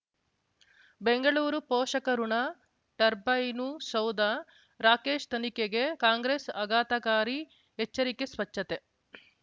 ಬೆಂಗಳೂರು ಪೋಷಕಋಣ ಟರ್ಬೈನು ಸೌಧ ರಾಕೇಶ್ ತನಿಖೆಗೆ ಕಾಂಗ್ರೆಸ್ ಆಘಾತಕಾರಿ ಎಚ್ಚರಿಕೆ ಸ್ವಚ್ಛತೆ